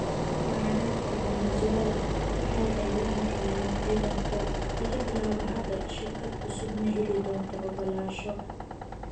Mucaaradka Venezuela 'waxa ay la hadlayaan ciidanka' "Laga bilaabo hadda, shirkad cusub ma heli doonto ogolaansho."